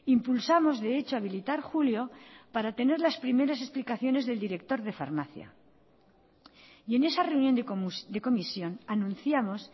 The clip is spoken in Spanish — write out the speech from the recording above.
impulsamos de hecho habilitar julio para tener las primeras explicaciones del director de farmacia y en esa reunión de comisión anunciamos